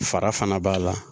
Fara fana b'a la